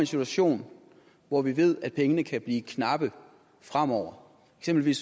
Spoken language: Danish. situation hvor vi ved at pengene kan blive knappe fremover som hvis